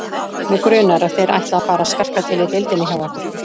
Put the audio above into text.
Mig grunar, að þeir ætli að fara að skarka til í deildinni hjá okkur